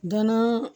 Gɔnɔ